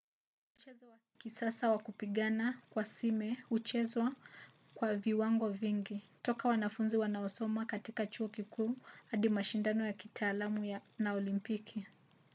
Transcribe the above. mchezo wa kisasa wa kupigana kwa sime huchezwa kwa viwango vingi toka wanafunzi wanaosoma katika chuo kikuu hadi mashindano ya kitaalamu na olimpiki